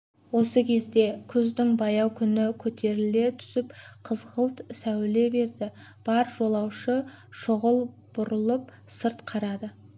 осы кезде күздің баяу күні көтеріле түсіп қызғылт сәуле берді бар жолаушы шұғыл бұрылып сырт қарады